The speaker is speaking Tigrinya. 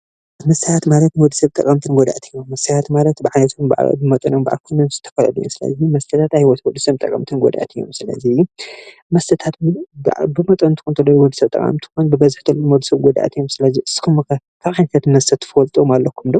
መስትያት ማለት ኣካላትኩም ብዓይንኩም ናይ ምስትዋዓል መስትያት ኣብ ወድሰብ ጠቃምን ጎዳእን ስለዝኮነ